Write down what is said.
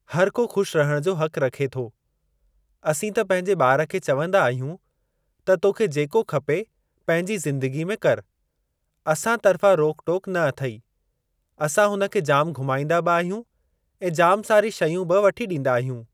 हर को ख़ुश रहणु जो हक रखे थो। असीं त पंहिंजे ॿार खे चवंदा आहियूं त तोखे जेको खपे पंहिंजी ज़िंदगी में करि। असां तर्फ़ां रोक टोक न अथई। असां हुन खे जाम घूमाईंदा बि आहियूं ऐं जाम सारी शयूं बि वठी ॾींदा आहियूं।